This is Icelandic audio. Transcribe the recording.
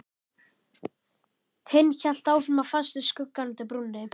Hinn hélt áfram að fást við skuggann undir brúnni.